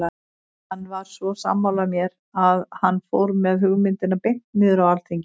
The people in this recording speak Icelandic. Hann var svo sammála mér að hann fór með hugmyndina beint niður á alþingi.